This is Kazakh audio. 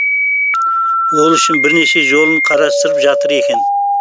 ол үшін бірнеше жолын қарастырып жатыр екен